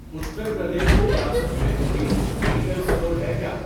اتر پردیش ریاست میں کوئی میڈیکل سٹور ہے کیا؟